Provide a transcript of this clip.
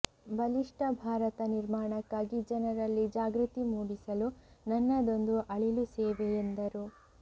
ಬಲಿಷ್ಠ ಭಾರತ ನಿರ್ಮಾಣಕ್ಕಾಗಿ ಜನರಲ್ಲಿ ಜಾಗೃತಿ ಮೂಡಿಸಲು ನನ್ನದೊಂದು ಅಳಿಲು ಸೇವೆ ಎಂದರು